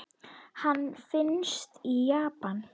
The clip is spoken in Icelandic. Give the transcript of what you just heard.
Hann finnst í Japan.